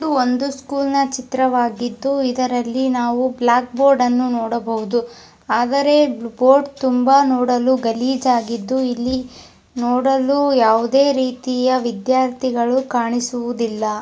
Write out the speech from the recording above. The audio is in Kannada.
ಇದು ಒಂದು ಸ್ಕೂಲ್ ನ ಚಿತ್ರ ವಾಗಿದ್ದು ಇದರಲ್ಲಿ ನಾವು ಬ್ಲಾಕ್ ಬೋರ್ಡ್ ಅನ್ನು ನೋಡ ಬಹುದು ಆದರೆ ಬೋರ್ಡ್ ತುಂಬಾ ನೋಡಲು ಗಲಿಜೆ ಆಗಿದ್ದು ಇಲ್ಲಿ ನೋಡಲು ಯಾವುದೇ ರೀತಿಯ ವಿದ್ಯಾರ್ಥಿ ಕಾಣಿಸುವುದಿಲ್ಲ.